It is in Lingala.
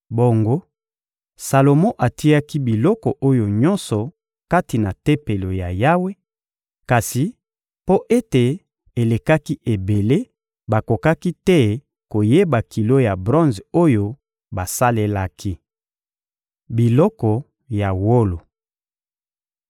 Bongo Salomo atiaki biloko oyo nyonso kati na Tempelo ya Yawe; kasi mpo ete elekaki ebele, bakokaki te koyeba kilo ya bronze oyo basalelaki. Biloko ya wolo (2Ma 4.19-22)